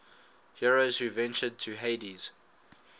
heroes who ventured to hades